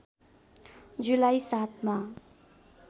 जुलाई ७ मा